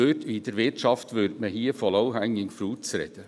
In der Wirtschaft würde man hier von «low-hanging fruits» sprechen.